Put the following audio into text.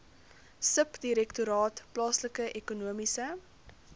subdirektoraat plaaslike ekonomiese